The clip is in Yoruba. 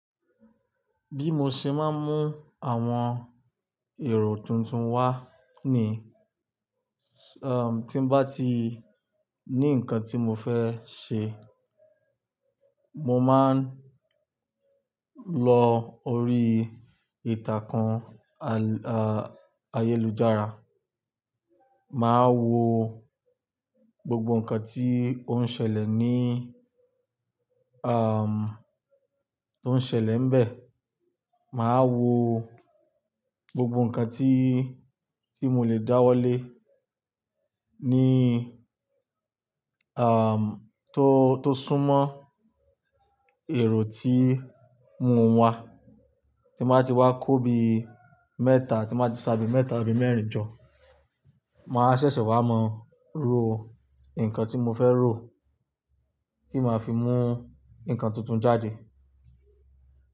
Bí mo ṣe máa ń mú àwọn èrò tuntun wá ni, um, tí n bá ti ní nǹkan tí mo fẹ́ ṣe, mo máa ń lọ orí ìtàkun àyélujára. Máa wo gbogbo nǹkan tí ó ń ṣẹlẹ̀ ní, um, tó ń ṣẹlẹ̀ nbẹ̀. Máa wo gbogbo nǹkan tí, tí mo le dáwọ́ lé ní, um, tó, tó súnmọ́ èrò tí mo ń wá. Tí n bá ti wá kó bi mẹ́ta, tí n bá ti ṣa bi mẹ́ta abi mẹ́rin jọ, màá ṣẹ̀ṣẹ̀ wá mọ ró nǹkan tí mo fẹ́ ró, tí màá fi mú nǹkan tuntun jáde.